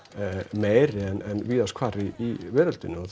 meiri en víðast hvar í veröldinni og